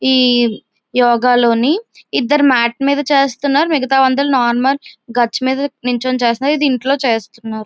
ఈ యోగ లోని ఇద్దరు మెట్ మీద చేస్తున్నారు మిగతావారు అందరూ నార్మల్ గచ్చు మీదా నించొని చేస్తున్నారు ఇది ఇంటిలో చేస్తున్నారు.